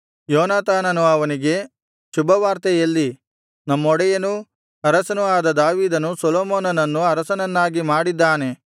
ಯೋನಾತಾನನು ಅವನಿಗೆ ಶುಭವಾರ್ತೆ ಎಲ್ಲಿ ನಮ್ಮೊಡೆಯನೂ ಅರಸನೂ ಆದ ದಾವೀದನು ಸೊಲೊಮೋನನನ್ನು ಅರಸನನ್ನಾಗಿ ಮಾಡಿದ್ದಾನೆ